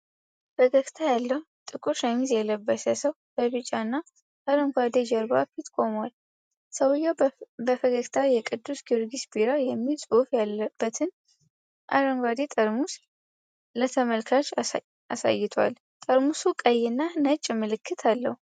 ፈገግታ ያለው ጥቁር ሸሚዝ የለበሰ ሰው በቢጫ እና አረንጓዴ ጀርባ ፊት ቆሟል። ሰውየው በፈገግታ የቅዱስ ጊዮርጊስ ቢራ የሚል ጽሑፍ ያለበትን አረንጓዴ ጠርሙስ ለተመልካች አሳይቷል። ጠርሙሱ ቀይና ነጭ ምልክት አለው።